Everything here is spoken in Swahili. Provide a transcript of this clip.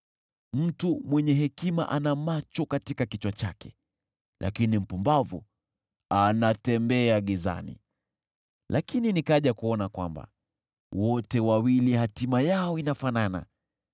Mtu mwenye hekima ana macho katika kichwa chake, lakini mpumbavu anatembea gizani; lakini nikaja kuona kwamba wote wawili hatima yao inafanana.